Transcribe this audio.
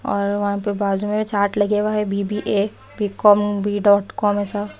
और वहाँ पे बाजू में चार्ट लगे हुआ है B_ B_ A_ B_ com B_ dot com ऐसा।